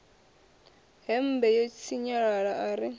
hembe ḽo sinyalala ḽa ri